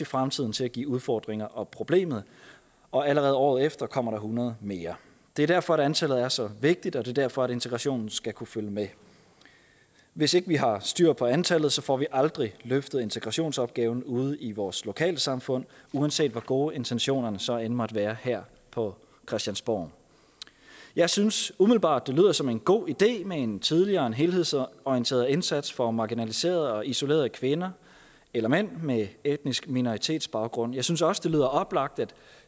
fremtiden til at give udfordringer og problemer og allerede året efter kommer der hundrede mere det er derfor antallet er så vigtigt og det er derfor integrationen skal kunne følge med hvis ikke vi har styr på antallet får vi aldrig løftet integrationsopgaven ude i vores lokalsamfund uanset hvor gode intentionerne så end måtte være her på christiansborg jeg synes umiddelbart det lyder som en god idé med en tidligere og en helhedsorienteret indsats for marginaliserede og isolerede kvinder eller mænd med etnisk minoritetsbaggrund jeg synes også det lyder oplagt at